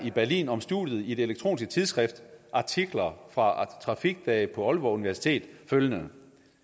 berlin om studiet i det elektroniske tidsskrift artikler fra trafikdage på aalborg universitet følgende